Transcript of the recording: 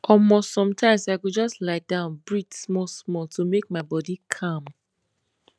omor sometimes i go just lie down breathe smallsmall to make my body calm